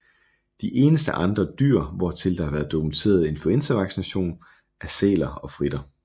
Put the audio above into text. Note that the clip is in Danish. De eneste andre dyr hvortil der har været dokumenteret influenzainfektion er sæler og fritter